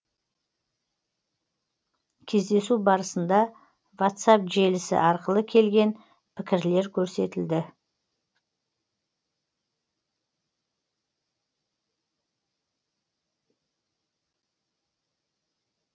кездесу барысында ватсап желісі арқылы келген пікірлер көрсетілді